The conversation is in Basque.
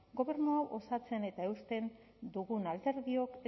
gobernu hau osatzen eta eusten dugun alderdiok